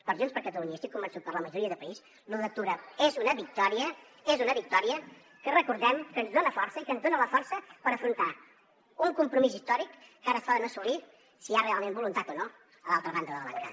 per junts per catalunya i estic convençut que per a la majoria de país l’u d’octubre és una victòria és una victòria que recordem que ens dona força i que ens dona la força per afrontar un compromís històric que ara poden assolir si hi ha realment voluntat o no a l’altra banda de la bancada